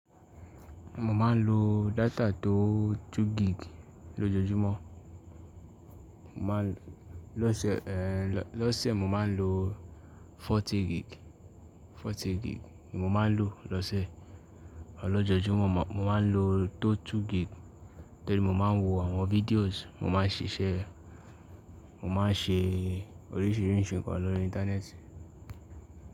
Mo máa ń lo data tó 2GB lójoojúmọ́. Mo má a lọ́sẹ̀ ẹ́ lọ́sẹ̀, ẹ́ lọ́sẹ̀ mo máa ń lo 40GB, 40GB ni mo máa ń lo lọ́sẹ̀. Lójojúmo mo máa ń lo tó 2GB torí mo máa ń wo àwọn videos, mo máa ń ṣiṣẹ́, mo máa ń ṣe oríṣiríṣi nǹkan lórí íńtánẹ́ẹ̀tì.